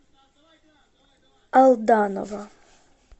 алданова